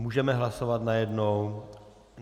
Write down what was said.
Můžeme hlasovat najednou?